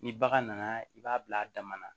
Ni bagan nana i b'a bila a dama na